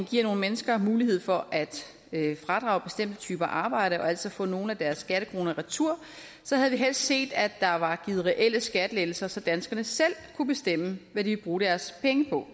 giver nogle mennesker mulighed for at fradrage bestemte typer arbejde og altså få nogle af deres skattekroner retur havde vi helst set at der var givet reelle skattelettelser så danskerne selv kunne bestemme hvad de ville bruge deres penge på